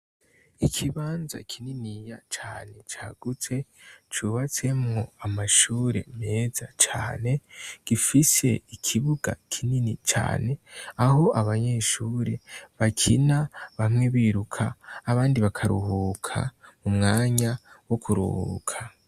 Ikibanza kininiya cane cagutse cubatsemwo amashure meza cane, gifise ikibuga kinini cane, aho abanyeshure bakina bamwe biruka abandi bakaruhuka mu mwanya wo kuruhuka.